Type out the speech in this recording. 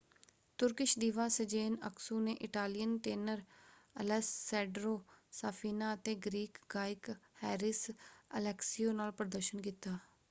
Turkish diva Sezen Aksu ਨੇ Italian tenor Alessandro Safina ਅਤੇ Greek ਗਾਇਕ ਹੈਰਿਸ ਅਲੈਕਸੀਓ ਨਾਲ ਪ੍ਰਦਰਸ਼ਨ ਕੀਤਾ।